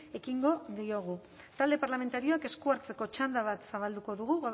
ekingo diogu talde parlamentarioek esku hartzeko txanda bat zabalduko dugu